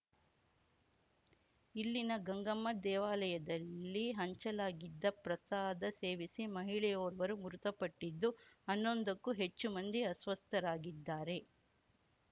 ಇಲ್ಲಿನ ಗಂಗಮ್ಮ ದೇವಾಲಯದಲ್ಲಿ ಹಂಚಲಾಗಿದ್ದ ಪ್ರಸಾದ ಸೇವಿಸಿ ಮಹಿಳೆಯೊರ್ವರು ಮೃತಪಟ್ಟಿದ್ದು ಹನ್ನೊಂದಕ್ಕೂ ಹೆಚ್ಚು ಮಂದಿ ಅಸ್ವಸ್ಥರಾಗಿದ್ದಾರೆ